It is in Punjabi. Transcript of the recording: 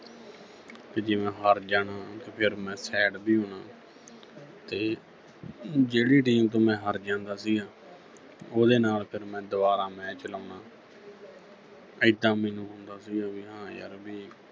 ਤੇ ਜੇ ਮੈਂ ਹਾਰ ਜਾਣਾ ਤੇ ਫਿਰ ਮੈਂ sad ਵੀ ਹੋਣਾ ਤੇ ਜਿਹੜੀ team ਤੋਂ ਮੈਂ ਹਾਰ ਜਾਂਦਾ ਸੀ ਉਹਦੇ ਨਾਲ ਫਿਰ ਮੈਂ ਦੁਬਾਰਾ match ਲਾਉਣਾ ਐਦਾਂ ਮੈਨੂੰ ਹੁੰਦਾ ਸੀਗਾ ਵੀ ਹਾਂ ਯਰ ਵੀ